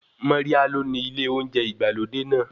Moria ló ni ilé oúnjẹ ìgbàlódé náà.